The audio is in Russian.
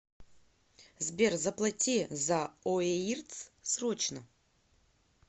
сбер заплати за оеирц срочно